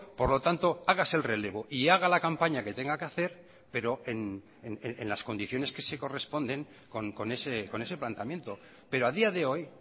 por lo tanto hágase el relevo y haga la campaña que tenga que hacer pero en las condiciones que se corresponden con ese planteamiento pero a día de hoy